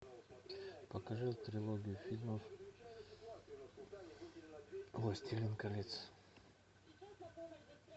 покажи трилогию фильмов властелин колец